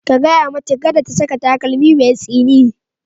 Ka gaya mata kada ta saka takalmi mai tsini.